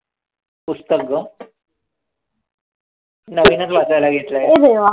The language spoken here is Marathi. पुस्तक गं. नवीनच वाचायला घेतलंय.